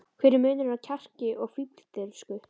Hver er munurinn á kjarki og fífldirfsku?